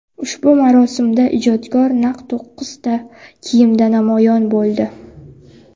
Ushbu marosimda ijodkor naq to‘qqizta kiyimda namoyon bo‘ldi.